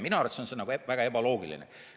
Minu arvates on see väga ebaloogiline.